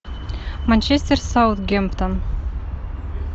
манчестер саутгемптон